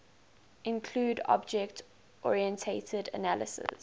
include object oriented analysis